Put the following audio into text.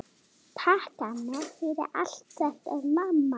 Takk, amma, fyrir allt.